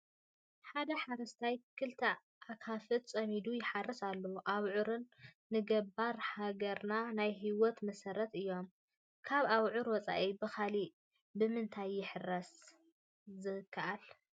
ሓደ ሓረስታይ ክልተ ኣኻፍት ፀሚዱ ይሓርስ ኣሎ፡፡ ኣብዑር ንገባር ሃገርና ናይ ህይወት መሰረት እዮም፡፡ ካብ ኣብዑር ወፃኢ ብኻልእ ብምንታይ ክሕረስ ዝከኣል?